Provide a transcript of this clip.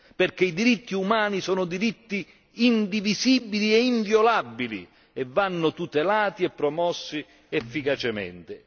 Perché i diritti umani sono diritti indivisibili e inviolabili e vanno tutelati e promossi efficacemente.